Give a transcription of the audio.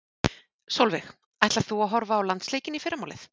Sólveig: Ætlar þú að horfa á landsleikinn í fyrramálið?